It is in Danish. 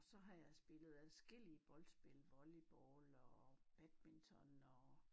Så har jeg spillet adskillige boldspil volleyball og badminton og